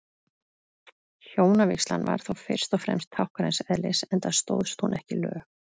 Hjónavígslan var þó fyrst og fremst táknræns eðlis, enda stóðst hún ekki lög.